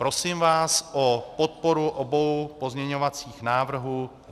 Prosím vás o podporu obou pozměňovacích návrhů.